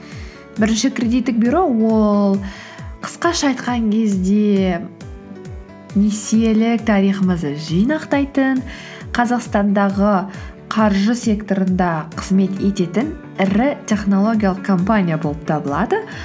бірінші кредиттік бюро ол қысқаша айтқан кезде несиелі тарихымызды жинақтайтын қазақстандағы қаржы секторында қызмет ететін ірі технологиялық компания болып табылады